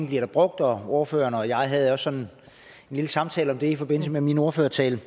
bliver brugt ordføreren og jeg havde også en lille samtale om det i forbindelse med min ordførertale